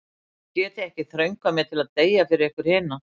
Þið getið ekki þröngvað mér til að deyja fyrir ykkur hina.